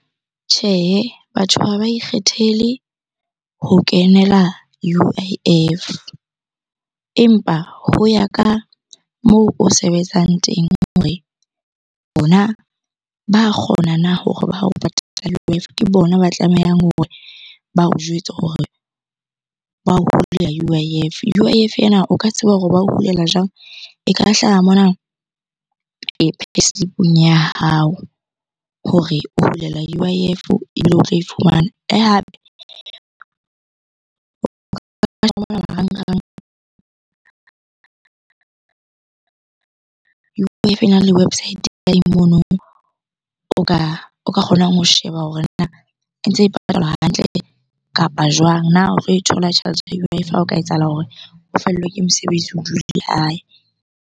Tjhehe, batho ha ba ikgethele ho kenela U_I_F. Empa ho ya ka moo o sebetsang teng hore bona ba kgona na hore ba o patala . Ke bona ba tlamehang hore ba o jwetse hore ba o hulela U_I_F. U_I_F ena o ka tseba hore ba ho hulela jwang? E ka hlaha mona payslip-ong ya hao hore o hulelwa U_I_F ebile o tlo e fumana. Le hape marangrang. ena le website o ka o ka kgonang ho sheba hore na e ntse e patalwa hantle kapa jwang? Na o tlo e thola tjhelete ya U_I_F ha o ka etsahala hore o fellwe ke mosebetsi o hae.